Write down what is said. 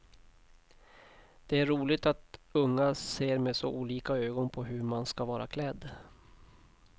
Det är roligt att unga ser med så olika ögon på hur man ska vara klädd.